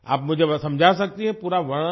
आप मुझे समझा सकती हैं पूरा वर्णन